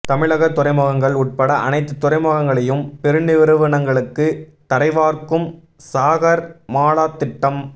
தமிழக துறைமுகங்கள் உட்பட அனைத்து துறைமுகங்களையும் பெரு நிறுவனங்களுக்கு தாரைவார்க்கும் சாகர்மாலா திட்டம்